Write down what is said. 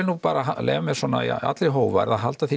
nú bara leyfa mér svona í allri hógværð að halda því